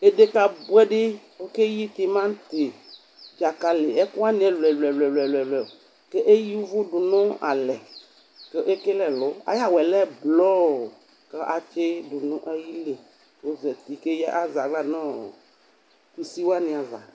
Edeka bwɛ dɩ okeyi timati, dzakali ekʊwanɩ ɛlʊ ɛlʊ ɛlʊ Kʊ eyǝ ʊvʊ dʊ nʊ alɛ, kʊ ekele ɛlʊ Ayʊ awʊ yɛ lɛ blɔɔ kʊ atsidʊ nʊ ayili, kʊ ozatɩ kʊ azɛ aɣla nʊ kusiwani ava